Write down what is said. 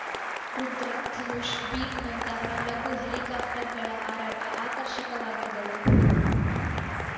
ರುದ್ರಾ ಧನುಷ್‌ ಭೀಮ್‌ ನಂತಹ ಲಘು ಹೆಲಿಕಾಪ್ಟರ್‌ಗಳ ಹಾರಾಟ ಆಕರ್ಷಕವಾಗಿದ್ದವು